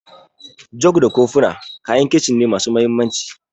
Jug da kofina kayan Kicin ne masu mahimmanci.